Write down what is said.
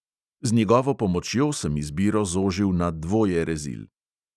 Z njegovo pomočjo sem izbiro zožil na dvoje rezil.